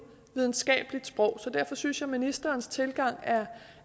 videnskabeligt sprog så derfor synes jeg at ministerens tilgang